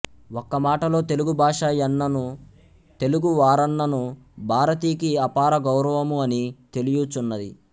ఒక్క మాటలో తెలుగుభాష యన్నను తెలుగు వారన్నను భారతికి అపారగౌరవము అని తెలియుచున్నది